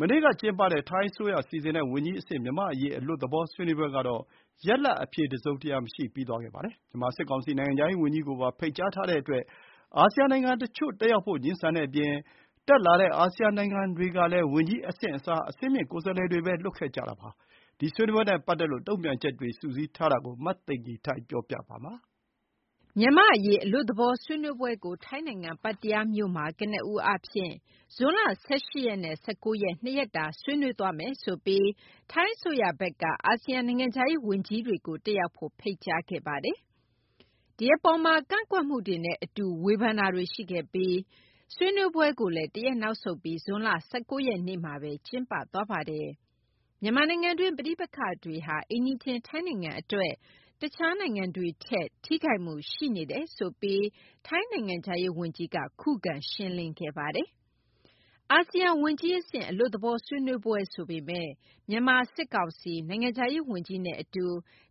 မနေ့က ကျင်းပတဲ့ ထိုင်းအစိုးရ စီစဉ်တဲ့ ဝန်ကြီးအဆင့် မြန်မာ့အရေးအလွတ်သဘောဆွေးနွေးပွဲကတော့ ရလဒ်အဖြေတစုံတရာမရှိပြီး ပြီးသွားခဲ့ပါတယ်။ မြန်မာစစ်ကောင်စီ နိုင်ငံခြားရေးဝန်ကြီးကိုပါ ဖိတ်ကြား ထားတဲ့အတွက် အာဆီယံနိုင်ငံတချို့ တတ်ရောက်ဖို့ ငြင်းဆန်တဲ့အပြင်၊ တက်ရောက်လာတဲ့ အာဆီယံနိုင်ငံ တွေကလည်း ဝန်ကြီးအဆင့်အစား အဆင့်မြင့်ကိုယ်စားလှယ်တွေပဲ လွှတ်ခဲ့ပါတယ်။ ဒီဆွေးနွေးပွဲနဲ့ ပတ်သက်လို့တုန့်ပြန်ချက်တွေ စုစည်းထားတာကို မသိဂီထိုက်ပြောပြပါမယ်။ မြန်မာ့အရေး အလွတ်သဘော ဆွေးနွေးပွဲကို ထိုင်းနိုင်ငံ၊ ပတ္တရားမြို့မှာ ကနဦးအားဖြင့် ဇွန်လ ၁၈ ရက်နဲ့ ၁၉ ရက် - ၂ ရက်တာ ဆွေးနွေးသွားမယ်ဆိုပြီး ထိုင်းအစိုးရဘက်က အာဆီယံနိုင်ငံခြားရေးဝန်ကြီးတွေကို တက်ရောက်ဖို့ ဖိတ်ကြားခဲ့ပါတယ်။ ဒီအပေါ်မှာ ကန့်ကွက်မှုတွေနဲ့အတူ ဝေဖန်တာတွေရှိခဲ့ပြီး ဆွေးနွေးပွဲကို လည်း တရက်နောက်ဆုတ်ပြီး ဇွန်လ ၁၉ ရက်နေ့မှာပဲ ကျင်းပသွားပါတယ်။ မြန်မာနိုင်ငံတွင်း ပဋိပက္ခတွေဟာ အိမ်နီးချင်းထိုင်းနိုင်ငံအတွက် အခြားနိုင်ငံတွေထက် ထိခိုက်မှုရှိနေတယ် ဆိုပြီး ထိုင်းနိုင်ငံခြားရေးဝန်ကြီးက ခုခံရှင်းလင်းခဲ့ပါတယ်။ အာဆီယံဝန်ကြီးအဆင့် အလွတ်သဘော ဆွေးနွေးပွဲဆိုပေမယ့် မြန်မာစစ်ကောင်စီ နိုင်ငံခြားရေးဝန်ကြီးနဲ့အတူ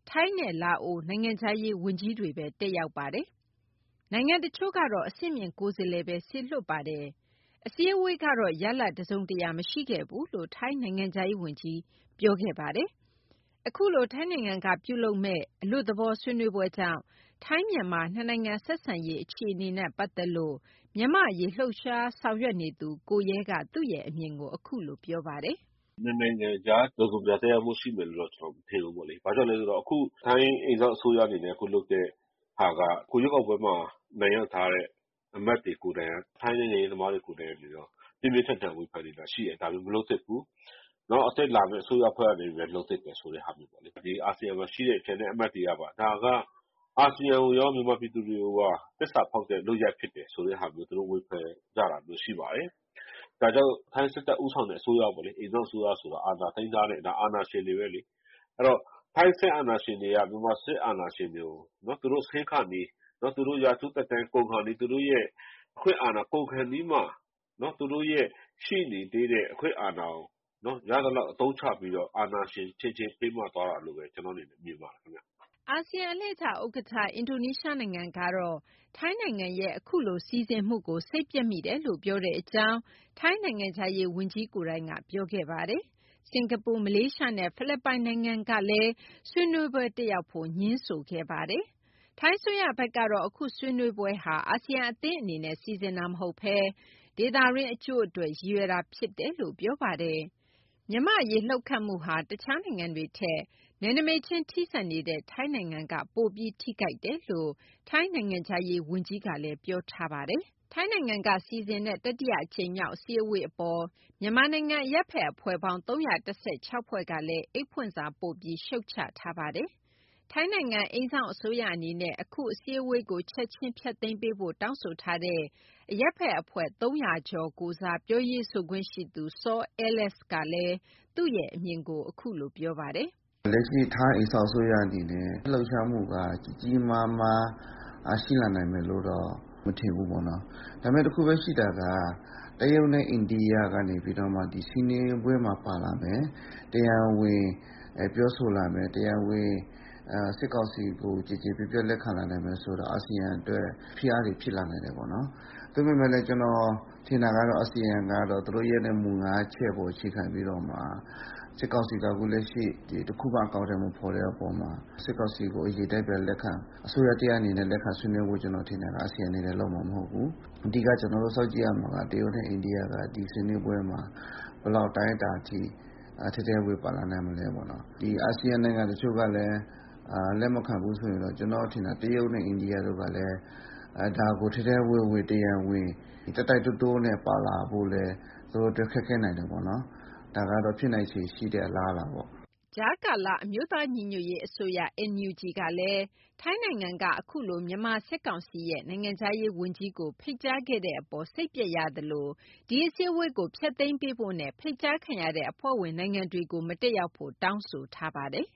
ထိုင်းနဲ့ လာအို နိုင်ငံခြားရေးဝန်ကြီး တွေပဲတက်ရောက်ပါတယ်။ နိုင်ငံတချို့ကတော့ အဆင့်မြင့်ကိုယ်စားလှယ်ပဲ စေလွှတ်ပါတယ်။ အစည်းအဝေးကတော့ ရလဒ်တစုံတရာမရှိခဲ့ဘူးလို့ ထိုင်းနိုင်ငံခြားရေးဝန်ကြီး ပြောခဲ့ပါတယ်။ အခုလို ထိုင်းနိုင်ငံကပြုလုပ်မယ့် အလွတ်သဘော ဆွေးနွေးပွဲကြောင့် ထိုင်း-မြန်မာ နှစ်နိုင်ငံဆက်ဆံရေး အခြေအနေ နဲ့ ပတ်သက်လို့ မြန်မာ့အရေး လှုပ်ရှားဆောင်ရွက်နေသူ ကိုရဲကသူ့ရဲ့အမြင်ကို အခုလိုပြောပါတယ်။ "နှစ်နိုင်ငံကြား တစုံတရာသက်ရောက်မှု ရှိမယ်လို့တော့ မထင်ဘူး။ ဘာကြောင့်လဲဆိုတော့ ထိုင်းအိမ်စောင့် အစိုးရအနေနဲ့ အခုလုပ်တဲ့ဟာက အခုရွေးကောက်ပွဲမှာ အနိုင်ရထားတဲ့ အမတ်တွေကိုယ်တိုင်၊ ထိုင်းနိုင်ငံရေးသမားတွေကိုယ်တိုင်က ပြင်းပြင်းထန်ထန် ဝေဖန်နေတာရှိတယ်။ ဒါတွေမလုပ်သင့်ဘူး၊ နောက်လာမယ့် အစိုးရသစ်အနေနဲ့ပဲ လုပ်သင့်တယ်ဆိုတဲ့ ဟာမျိုးပေါ့လေ။ အာဆီယံမှာရှိတဲ့ ကျန်တဲ့အမတ်တွေကပါ ဒါကအာဆီယံကိုရော၊ မြန်မာပြည်သူတွေကိုပါ သစ္စာဖောက်တဲ့ လုပ်ရပ်ဖြစ်တယ် ဆိုတဲ့ဟာမျိုး သူတို့ဝေဖန်ကြတယ်။ ဒါကြောင့် ထိုင်းစစ်တပ်ဦးဆောင်တဲ့ အိမ်စောင့်အစိုးရဆိုတာ အာဏာသိမ်းထားတဲ့ အာဏာရှင်တွေပဲလေ။ အဲတော့ ထိုင်းစစ်အာဏာရှင်တွေက မြန်မာစစ်အာဏာရှင်တွေ ကို သူတို့ဆင်းခါနီး၊ သူတို့ရာထူး သက်တမ်းကုန်ခါနီး၊ သူတို့ရဲ့ ရှိနေသေးတဲ့ အခွင့်အာဏာကို ရသလောက်အသုံးချပြီးတော့ အာဏာရှင်အချင်းချင်း ဖေးမသွားတာလို့ပဲ ကျနော့်အနေနဲ့ မြင်ပါတယ်။" အာဆီယံအလှည့်ကျ ဥက္ကဋ္ဌ အင်ဒိုနီးရှားနိုင်ငံကတော့ ထိုင်းနိုင်ငံရဲ့ အခုလိုစီစဉ်မှုကို စိတ်ပျက်မိတယ်လို့ ပြောတဲ့အကြောင်း ထိုင်းနိုင်ငံခြားရေးဝန်ကြီးကိုယ်တိုင်က ပြောခဲ့ပါတယ်။ စင်္ကာပူ၊ မလေးရှားနဲ့ ဖိလစ်ပိုင် နိုင်ငံကလည်း ဆွေးနွေးပွဲ တက်ရောက်ဖို့ ငြင်းဆိုခဲ့ပါတယ်။ ထိုင်းအစိုးရဖက်ကတော့ အခုဆွေးနွေးပွဲဟာ အာဆီယံအသင်းအနေနဲ့ စီစဉ်တာမဟုတ်ဘဲ ဒေသတွင်း အကျိုးအတွက် ရည်ရွယ်တာဖြစ်တယ်လို့ ပြောပါတယ်။ မြန်မာ့အရေး လှုပ်ခတ်မှုဟာ တခြားနိုင်ငံတွေထက် နယ်နိမိတ်ချင်း ထိစပ်နေတဲ့ ထိုင်းနိုင်ငံက ပိုပြီးထိခိုက်တယ်လို့ ထိုင်းနိုင်ငံခြားရေး ဝန်ကြီးချုပ်ကလည်း ပြောထားပါတယ်။ ထိုင်းနိုင်ငံက စီစဉ်တဲ့ တတိယအကြိမ်မြောက် အစည်းအဝေးအပေါ် မြန်မာနိုင်ငံ အရပ်ဖက်အဖွဲ့ပေါင်း ၃၁၆ ဖွဲ့ကလည်း အိတ်ဖွင့်စာပို့ပြီး ရှုတ်ချထားပါတယ်။ ထိုင်းနိုင်ငံ အိမ်စောင့်အစိုးရ အနေနဲ့ အခုအစည်းအဝေးကို ချက်ချင်းဖျက်သိမ်းပေးဖို့ တောင်းဆိုထားတဲ့ အရပ်ဖက်အဖွဲ့ ၃၀၀ ကျော်ကိုယ်စား ပြောရေးဆိုခွင့်ရှိသူ စောအဲလက်စ်ကလည်း သူ့ရဲ့အမြင်ကို အခုလိုပြောပါတယ်။ "လက်ရှိ ထိုင်းအိမ်စောင့်အစိုးရရဲ့ လှုပ်ရှုားမှုက ကြီးကြီးမားမား ရှိလာနိုင်မယ်လို့တော့ မထင်ဘူးပေါ့နော်။ ဒါပေမဲ့ တခုပဲရှိတာက တရုတ်နဲ့ အိန္ဒိယက ဒီဆွေးနွေးပွဲမှာပါလာမယ်၊ တရားဝင်ပြောဆိုလာမယ်၊ တရားဝင် စစ်ကောင်စီကို ကျေကျေနပ်နပ် လက်ခံလာနိုင်မယ်ဆိုတာ အာဆီယံအတွက် ဖိအားတွေ ဖြစ်လာနိုင်တယ် ပေါ့နော်။ သို့ပေမယ့်လည်း ကျနော်ထင်တာကတော့ အာဆီယံက သူတို့ရဲ့မူ ၅ချက်ကို အခြေခံပြီးတော့မှ စစ်ကောင်စီက အခုလက်ရှိ တခုမှအကောင်အထည် မဖော်တဲ့ဟာက စစ်ကောင်စီကို အရင်အတိုင်း အစိုးရတရပ်အနေနဲ့ ပြန်လက်ခံဆွေးနွေးဖို့ အာဆီယံအနေနဲ့ လုပ်မှာမဟုတ်ဘူး။ အဓိက ကျနော်တို့ စောင့်ကြည့်ရမှာက တရုတ်နဲ့ အိန္ဒိယက ဒီဆွေးနွေးပွဲမှာ ဘယ်လောက်အတိုင်းအတာအထိ ထဲထဲဝင်ဝင် ပါလာနိုင်မလဲပေါ့နော်။ အာဆီယံနိုင်ငံ တချို့ကလည်း လက်မခံဘူးဆိုရင်တော့ တရုတ်နဲ့ အိန္ဒိယကလည်း ဒါကို ထဲထဲဝင်ဝင် တရားဝင် တိုက်တိုက်တွန်းတွန်းနဲ့ ပါလာဖို့လည်း သူတို့အတွက် ခက်ခဲနိုင်တာပေါ့နော်။ ဒါကတော့ ဖြစ်နိုင်ခြေရှိတဲ့ အလားအလာပေါ့။" ကြားကာလ အမျိုးသားညီညွတ်ရေးအစိုးရ NUG ကလည်း ထိုင်းနိုင်ငံက အခုလို မြန်မာစစ်ကောင်စီရဲ့ နိုင်ငံခြားရေးဝန်ကြီးကို ဖိတ်ကြားခဲ့တဲ့အပေါ် စိတ်ပျက်ရသလို၊ ဒီအစည်းအဝေးကို ဖျက်သိမ်းပေးဖို့နဲ့ ဖိတ်ကြားခံရတဲ့ အဖွဲ့ဝင်နိုင်ငံတွေကို မတက်ရောက်ဖို့ တောင်းဆိုထားပါတယ်